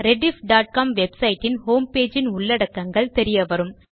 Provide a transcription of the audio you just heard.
rediff.com website இன் homepageஇன் உள்ளடக்கங்கள் தெரியவரும்